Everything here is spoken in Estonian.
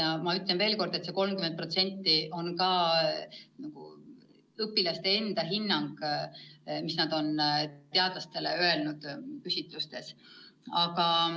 Ja ma ütlen veel kord, et see 30% on õpilaste enda hinnang, mis nad on teadlastele küsitlustes öelnud.